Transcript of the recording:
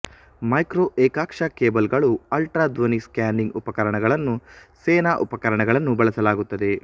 micro ಏಕಾಕ್ಷ ಕೇಬಲ್ಗಳು ultra ಧ್ವನಿ ಸ್ಕ್ಯಾನಿಂಗ್ ಉಪಕರಣಗಳನ್ನು ಸೇನಾ ಉಪಕರಣಗಳನ್ನು ಬಳಸಲಾಗುತ್ತದೆ